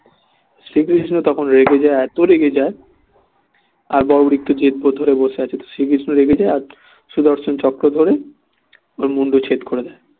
শ্রীকৃষ্ণ তখন রেগে যায় এতই রেগে যায় বর্বরিক তো জেদ গো ধরে বসে আছে শ্রীকৃষ্ণ রেগে যায় আর সুদর্শন চক্র ধরে ওর মুণ্ডচ্ছেদ করে দেয়